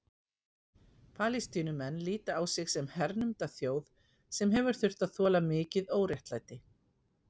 Palestínumenn líta á sig sem hernumda þjóð sem hefur þurft að þola mikið óréttlæti.